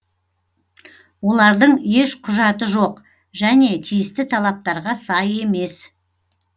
олардың еш құжаты жоқ және тиісті талаптарға сай емес